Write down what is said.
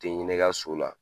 Te hinɛ i ka so la.